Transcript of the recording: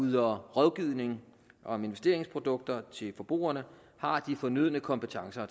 yder rådgivning om investeringsprodukter til forbrugerne har de fornødne kompetencer